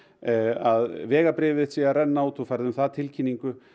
að vegabréfið þitt sé að renna út þú færð um það tilkynningu